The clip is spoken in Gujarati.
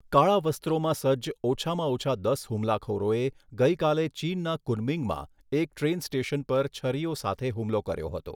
કાળા વસ્ત્રોમાં સજ્જ ઓછામાં ઓછા દસ હુમલાખોરોએ ગઈકાલે ચીનના કુનમિંગમાં એક ટ્રેન સ્ટેશન પર છરીઓ સાથે હુમલો કર્યો હતો.